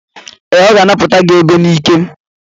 Ee, ọ ga-anapụta gị ego n'ike.